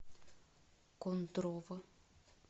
кондрово